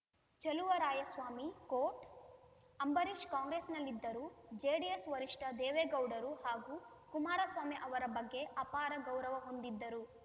ಚಲುವರಾಯಸ್ವಾಮಿ ಕೋಟ್‌ ಅಂಬರೀಷ್‌ ಕಾಂಗ್ರೆಸ್‌ನಲ್ಲಿದ್ದರೂ ಜೆಡಿಎಸ್‌ ವರಿಷ್ಠ ದೇವೇಗೌಡರು ಹಾಗೂ ಕುಮಾರಸ್ವಾಮಿ ಅವರ ಬಗ್ಗೆ ಅಪಾರ ಗೌರವ ಹೊಂದಿದ್ದರು